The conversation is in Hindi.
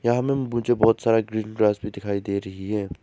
यहां मैं मुझे बहुत ज्यादा ग्रीन ग्रास भी दिखाई दे रही है।